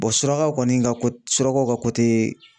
surakaw kɔni ka ko surakaw ka